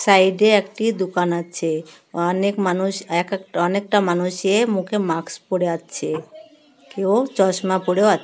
সাইডে একটি দোকান আছে অনেক মানুষ এক একটা অনেকটা মানুষ এ মুখে মাস্ক পড়ে আছে কেউ চশমা পড়ে আ--